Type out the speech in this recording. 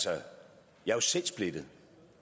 jeg er jo selv splittet